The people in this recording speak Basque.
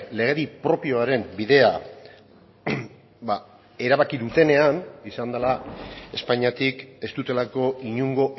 legedi propioaren bidea erabaki dutenean izan dela espainiatik ez dutelako inongo